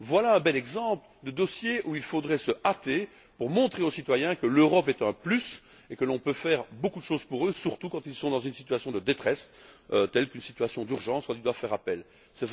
Voilà un bel exemple de dossier où il faudrait se hâter pour montrer aux citoyens que l'Europe est un plus et que l'on peut faire beaucoup de choses pour eux, surtout quand ils sont dans une situation de détresse, telle qu'une situation dans laquelle ils doivent faire appel aux urgences.